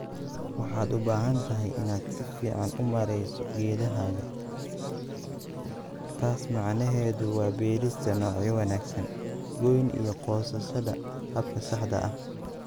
"Waxaad u baahan tahay inaad si fiican u maareyso geedahaaga - taas macnaheedu waa beerista noocyo wanaagsan, gooyn iyo goosashada habka saxda ah."